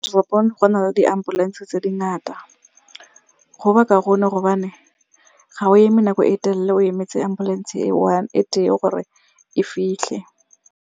Teropong go na le di-ambulance-e tse dingata. Go ba kaone gobane ga o eme nako e telele o emetse ambulance e one, e tee gore e fitlhe.